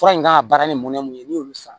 Fura in kan ka baara nin mun ye ni y'olu san